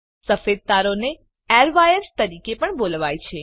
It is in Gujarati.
સફેદ તારોને એરવાયર્સ તરીકે પણ બોલાવાય છે